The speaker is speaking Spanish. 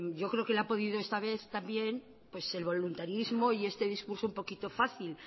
yo creo que la ha podido esta vez también pues el voluntarismo y este discurso un poquito fácil